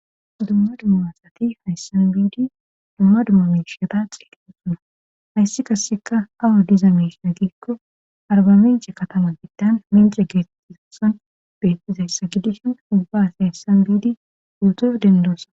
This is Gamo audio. Dumma dummaasati hayssan biidi dumma dumma meshata xeeqeqosuna hayssi kasseka awo diza mesa giikko arbamence katama biddan mindire geetettizason bettizayssa gidishon ubbas hayssan biidi urduo dendoosa.